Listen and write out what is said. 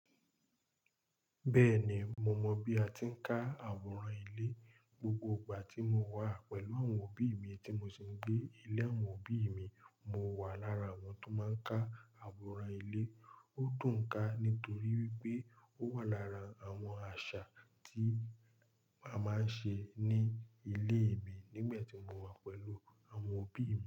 Bẹ́ẹ̀ni, mo mọ bí a ti ń ká àwòrán ilé. Gbogbo ìgbà tí mo wà pẹ̀lú àwọn òbí mi tí mo sì ń gbé ilé àwọn òbí mi, mo wà lára àwọn tó máa ń ká àwòrán ilé. Ó dùn-ún ká nítorí pé ó wà lára àwọn àṣà tí a máa ń ṣe ní ilé mi nígbà tí mo wà pẹ̀lú àwọn òbí mi.